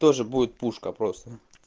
тоже будет пушка просто